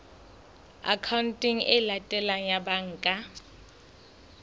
akhaonteng e latelang ya banka